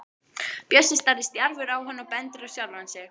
Bjössi starir stjarfur á hann og bendir á sjálfan sig.